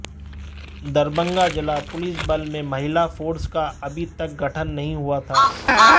दरभंगा जिला पुलिस बल में महिला फोर्स का अभी तक गठन नहीं हुआ था